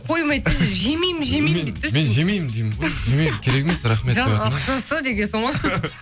қомайды да жемеймін жемеймін дейді де мен жемеймін жемеймін керек емес рахмет жоқ ақшасы дегенсің ғой